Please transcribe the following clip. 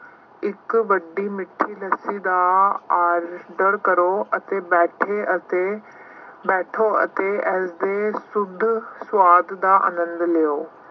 ਇੱਕ ਵੱਡੀ ਮਿੱਠੀ ਲੱਸੀ ਦਾ order ਕਰੋ ਅਤੇ ਬੈਠੋ ਅਤੇ ਬੈਠੋ ਅਤੇ ਇਸਦੇ ਸ਼ੁੱਧ ਸੁਆਦ ਦਾ ਆਨੰਦ ਲਉ।